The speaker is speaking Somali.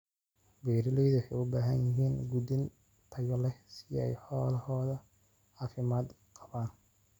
Beeraleydu waxay u baahan yihiin quudin tayo leh si ay xoolahooda caafimaad qabaan.